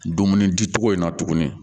Dumuni di cogo in na tuguni